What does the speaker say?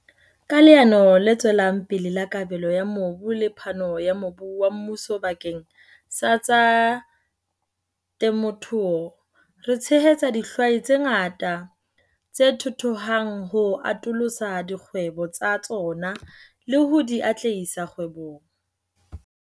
Ka Leano le Tswelang Pele la Kabelo ya Mobu le phano ya mobu wa mmuso bakeng sa tsa temothuo, re tshehetsa dihwai tse ngata tse thuthuhang ho atolosa dikgwebo tsa tsona le ho di atlehisa kgwebong.